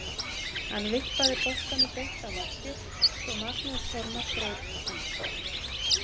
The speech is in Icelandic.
Hann vippaði boltanum beint á markið svo Magnús Þormar greip hann.